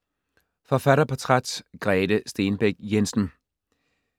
Forfatterportræt: Grete Stenbæk Jensen